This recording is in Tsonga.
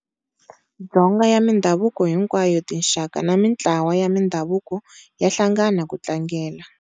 Dzonga ya mindhavuko hinkwayo, tinxaka na mintlawa ya mindhavuko ya hlangana ku tlangela.